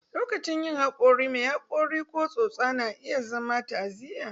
Lokacin yin haƙori, mai haƙori ko tsotsa na iya zama ta'aziyya